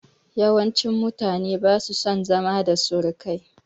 Yawancin mutane ba su son zama da surukai